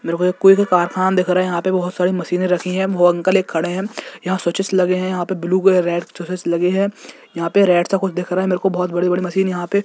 मेरेको एक कोई भी कारखान दिख रहा है यहाँ पे बोहोत सारी मशीने रखी है वोह अंकल एक खड़े हैं यहाँ स्विचेस लगे है यहाँ पे ब्लू कलर रेड चूसेस लगे हैं। यहाँ पे रेड सा कुछ दिख रहा है मेरे को यहाँ पे बोहत बड़े बड़े मशीन यहाँ पे --